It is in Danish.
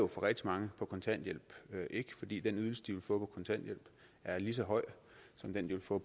for rigtig mange på kontanthjælp fordi den ydelse de får på kontanthjælp er lige så høj som den de vil få